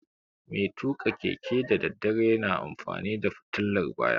Mai tuƙa keke da daddare na amfani da fitilar baya